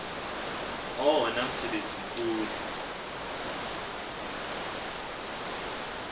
owona msebenzi mkhulu